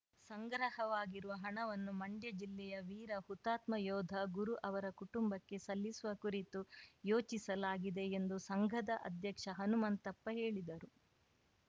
ಸಂಗ್ರಹ ವಾಗಿರುವ ಹಣವನ್ನು ಮಂಡ್ಯ ಜಿಲ್ಲೆಯ ವೀರ ಹುತಾತ್ಮಯೋಧ ಗುರು ಅವರ ಕಟುಂಬಕ್ಕೆ ಸಲ್ಲಿಸುವ ಕುರಿತು ಯೋಚಿಸಲಾಗಿದೆ ಎಂದು ಸಂಘದ ಅಧ್ಯಕ್ಷ ಹನುಮಂತಪ್ಪ ಹೇಳಿದರು